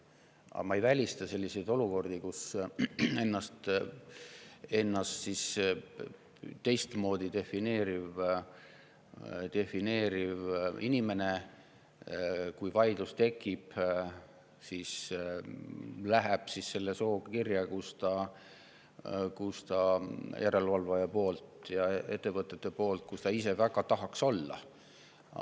Aga ma ei välista selliseid olukordi, kus ennast teistmoodi defineeriv inimene pannakse vaidluse tekkimise korral järelevalvaja või ettevõtte poolt kirja selle soo esindajana, kuhu ta ise väga tahaks kuuluda.